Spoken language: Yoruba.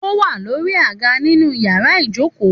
Òwà lòrí àgá nínù yàrá ìjókò.